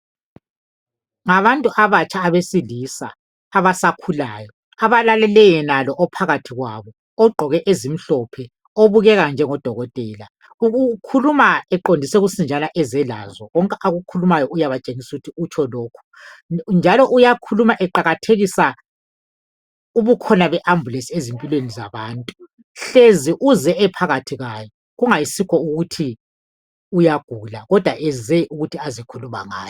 ngabantu abatsha abesilisa abasakhulayo abalalele yenalo ophakathi kwabo ogqoke ezimhlophe obukeka njengo dokotela ukhuluma eqondise usinjana konke akukhulumayo uyabatshengisa ukuthi utsho lokhu njalo uyakhuluma eqakathekisa ubukhona be ambulence ezimpilweni zabantu hlezi uze ephakathi kwayo kungayisikho ukuthi uyagula kodwa eze ukuthi aze khuluma ngayo